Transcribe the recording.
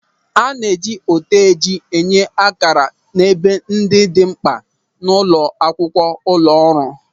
A na-eji oteji enye ákàrà n'ebe ndị dị mkpa n'ime akwụkwọ ụlọ ọrụ.